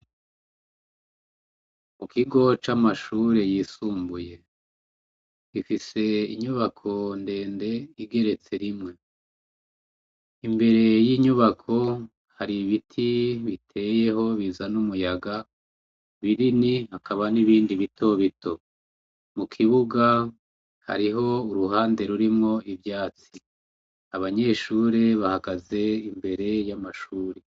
Mu kigo c'amashure yisumbuye, gifise inyubako ndende igeretse rimwe, imbere y'inyubako hari ibiti biteyeho bizana umuyaga binini, hakaba n'ibindi bitobito, mu kibuga hariho uruhande rurimwo ivyatsi, abanyeshure bagaheza imbere y'amashure.